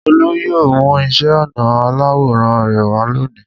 Olú yóò mú iṣẹ́-ọnà aláwòrán rẹ wá lónìí.